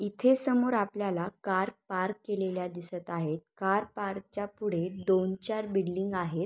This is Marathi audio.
इथे समोर आपल्याला कार पार्क केलेल्या दिसत आहेत कार पार्क च्या पुढे दोन चार बिल्डिंग आहेत.